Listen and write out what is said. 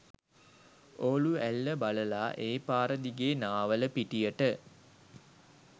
ඕලු ඇල්ල බලලා ඒ පාරදිගේ නාවලපිටියට